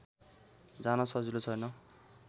जान सजिलो छैन